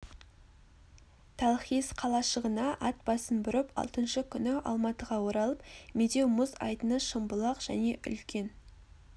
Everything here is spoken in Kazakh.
талхиз қалашығына ат басын бұрып алтыншы күні алматыға оралып медеу мұз айдыны шымбұлақ және үлкен